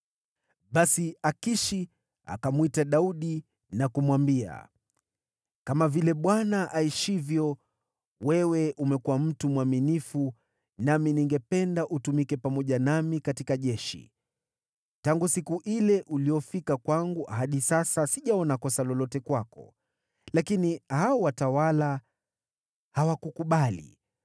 Basi Akishi akamwita Daudi na kumwambia, “Kama vile Bwana aishivyo, wewe umekuwa mtu mwaminifu, nami ningependa utumike pamoja nami katika jeshi. Tangu siku ile uliyofika kwangu hadi sasa, sijaona kosa lolote kwako, lakini hao watawala hawakukubali.